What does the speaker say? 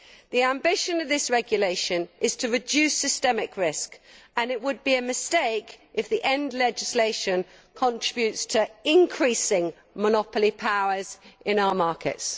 The ambition of this regulation is to reduce systemic risk and it would be a mistake if the end legislation contributes to increasing monopoly powers in our markets.